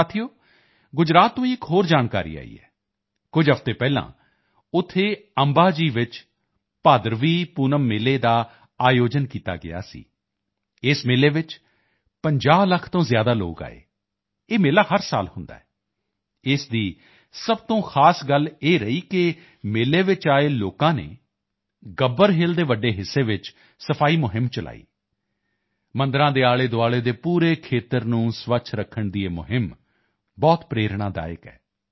ਸਾਥੀਓ ਗੁਜਰਾਤ ਤੋਂ ਹੀ ਇੱਕ ਹੋਰ ਜਾਣਕਾਰੀ ਆਈ ਹੈ ਕੁਝ ਹਫ਼ਤੇ ਪਹਿਲਾਂ ਉੱਥੇ ਅੰਬਾ ਜੀ ਵਿੱਚ ਭਾਦਰਵੀ ਪੂਨਮ ਮੇਲੇ ਦਾ ਆਯੋਜਨ ਕੀਤਾ ਗਿਆ ਸੀ ਇਸ ਮੇਲੇ ਵਿੱਚ 50 ਲੱਖ ਤੋਂ ਜ਼ਿਆਦਾ ਲੋਕ ਆਏ ਇਹ ਮੇਲਾ ਹਰ ਸਾਲ ਹੁੰਦਾ ਹੈ ਇਸ ਦੀ ਸਭ ਤੋਂ ਖਾਸ ਗੱਲ ਇਹ ਰਹੀ ਕਿ ਮੇਲੇ ਵਿੱਚ ਆਏ ਲੋਕਾਂ ਨੇ ਗੱਬਰ ਹਿਲ ਦੇ ਵੱਡੇ ਹਿੱਸੇ ਵਿੱਚ ਸਫਾਈ ਅਭਿਯਾਨ ਚਲਾਇਆ ਮੰਦਿਰਾਂ ਦੇ ਆਲੇਦੁਆਲੇ ਦੇ ਪੂਰੇ ਖੇਤਰ ਨੂੰ ਸਵੱਛ ਰੱਖਣ ਦੀ ਇਹ ਅਭਿਯਾਨ ਬਹੁਤ ਪ੍ਰੇਰਣਾਦਾਇਕ ਹੈ